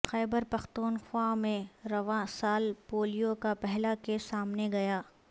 خیبر پختونخوا میں رواں سال پولیو کا پہلا کیس سامنے گیا